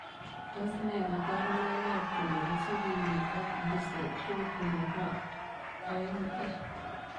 Tos nee kabarunoikap kobwansaa kelyek ak disotropu nepo eong A